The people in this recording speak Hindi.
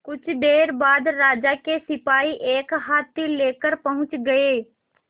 कुछ देर बाद राजा के सिपाही एक हाथी लेकर पहुंच गए